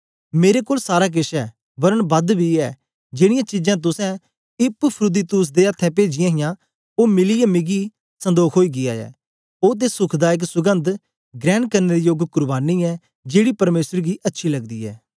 मेरे कोल सारा केछ ऐ वरन बद बी ऐ जेड़ीयां चीजां तुसें इपफ्रुदीतुस दे अथ्थें पेजीहियां ओ मिलीयै मिकी सन्दोख ओई गीया ऐं ओ ते सुखदायक सुगंध ग्रहण करने दे योग कुर्बानी ऐ जेड़ी परमेसर गी अच्छी लगदी ऐ